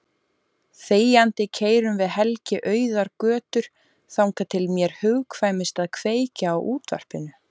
Þegjandi keyrum við Helgi auðar götur þangað til mér hugkvæmist að kveikja á útvarpinu.